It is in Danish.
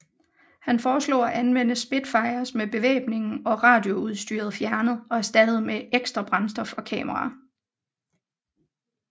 Han foreslog at anvende Spitfires med bevæbningen og radioudstyret fjernet og erstattet med ekstra brændstof og kameraer